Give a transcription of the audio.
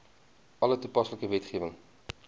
alle toepaslike wetgewing